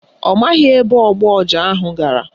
Ọ maghị ebe ogbu ọja ahụ gara